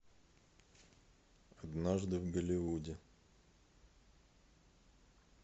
однажды в голливуде